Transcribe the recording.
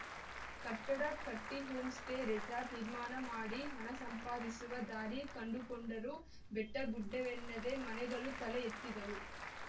ಕಟ್ಟಡ ಕಟ್ಟಿಹೋಂಸ್ಟೇ ರೆಸಾರ್ಟ್‌ ನಿರ್ಮಾಣ ಮಾಡಿ ಹಣ ಸಂಪಾದಿಸುವ ದಾರಿ ಕಂಡುಕೊಂಡರು ಬೆಟ್ಟಗುಡ್ಡವೆನ್ನದೆ ಮನೆಗಳು ತಲೆ ಎತ್ತಿದವು